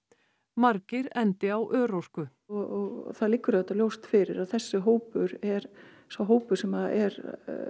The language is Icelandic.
margir endi á örorku og það liggur auðvitað ljóst fyrir að þessi hópur er sá hópur sem er